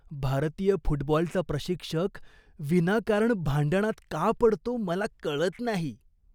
भारतीय फुटबॉलचा प्रशिक्षक विनाकारण भांडणात का पडतो मला कळत नाही.